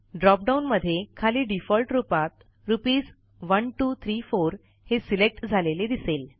dropdown मध्ये खाली default रूपात रुपीस 1234 हे सिलेक्ट झालेले दिसेल